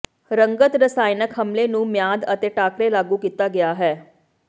ਰੰਗਤ ਰਸਾਇਣਕ ਹਮਲੇ ਨੂੰ ਮਿਆਦ ਅਤੇ ਟਾਕਰੇ ਲਾਗੂ ਕੀਤਾ ਗਿਆ ਹੈ